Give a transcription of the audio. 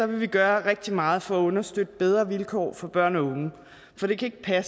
vi gøre rigtig meget for at understøtte bedre vilkår for børn og unge for det kan